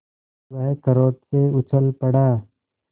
वह क्रोध से उछल पड़ा